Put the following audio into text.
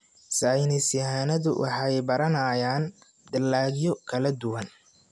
Saynis yahanadu waxay baranayaan dalagyo kala duwan.